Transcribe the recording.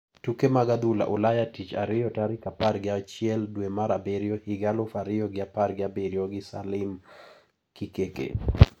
Tuke mag adhula Ulaya Tich Ariyo tarik apar gi achiel dwe mar abiriyo higa aluf ariyo gi apar gi abiriyo gi Salim Kikeke.